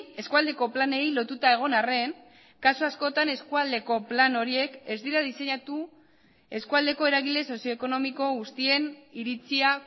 eskualdeko planei lotuta egon arren kasu askotan eskualdeko plan horiek ez dira diseinatu eskualdeko eragile sozioekonomiko guztien iritzia